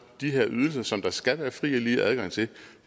de her ydelser som der skal være fri og lige adgang til